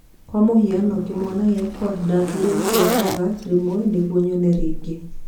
Kwa mũhiano, ' Kĩmwana gĩakwa, ndatuire itwa kwaga rĩmwe nĩguo nyone rĩĩngĩ'. "